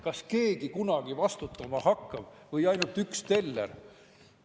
Kas keegi hakkab kunagi vastutama või vastutab ainult üks teller?